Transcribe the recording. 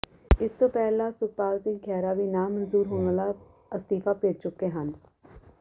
ਇਸ ਤੋਂ ਪਹਿਲਾਂ ਸੁਖਪਾਲ ਸਿੰਘ ਖਹਿਰਾ ਵੀ ਨਾਮਨਜ਼ੂਰ ਹੋਣ ਵਾਲਾ ਅਸਤੀਫਾ ਭੇਜ ਚੁੱਕੇ ਹਨ